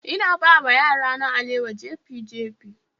Ina bawa yarana alewa jefi-jefi